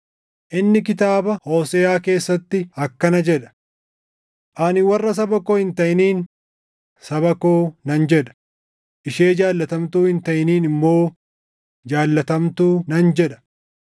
Inni kitaaba Hooseʼaa keessatti akkana jedha: “Ani warra saba koo hin taʼiniin, ‘saba koo’ nan jedha; ishee jaallatamtuu hin taʼiniin immoo, // ‘jaallatamtuu’ nan jedha.” + 9:25 \+xt Hos 2:23\+xt*